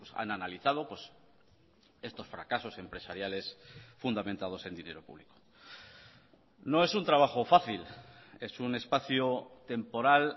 han analizado estos fracasos empresariales fundamentados en dinero público no es un trabajo fácil es un espacio temporal